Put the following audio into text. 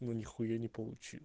но нехуя не полу